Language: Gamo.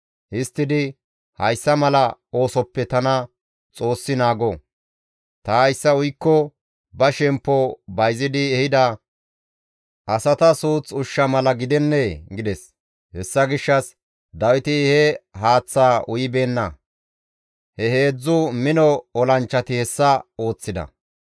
Histtidi, «Hayssa mala oosoppe tana Xoossi naago! Ta hayssa uykko ba shemppo bayzidi ehida asata suuth ushsha mala gidennee?» gides; hessa gishshas Dawiti he haaththaa uyibeenna; he heedzdzu mino olanchchati hessa ooththida.